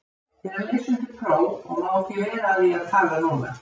Ég er að lesa undir próf og má ekki vera að því að tala núna.